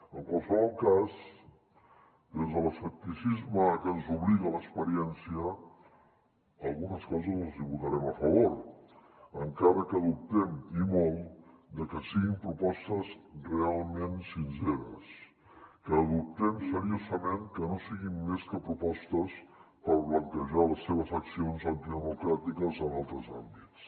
en qualsevol cas des de l’escepticisme a que ens obliga l’experiència algunes coses els hi votarem a favor encara que dubtem i molt de que siguin propostes realment sinceres que dubtem seriosament de que no siguin més que propostes per blanquejar les seves accions antidemocràtiques en altres àmbits